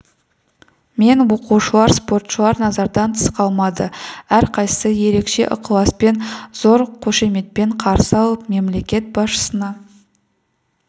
мен оқушылар спортшылар назардан тыс қалмады әрқайсысы ерекше ықыласпен зор қошеметпен қарсы алып мемлекет басшысына